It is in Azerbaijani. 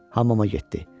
Hamama getdi.